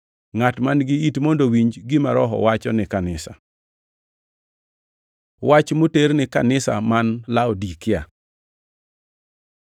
Ngʼat man-gi it mondo owinj gima Roho wacho ni kanisa. Wach moter ni kanisa man Laudikia